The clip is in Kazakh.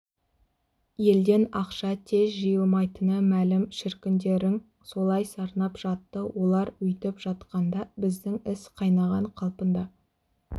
елден ақша тез жиылмайтыны мәлім шіркіндерің солай сарнап жатты олар өйтіп жатқанда біздің іс қайнаған қалпында